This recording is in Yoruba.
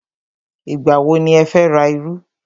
Ìgbà wọ ni ẹ fẹ́ ra iru?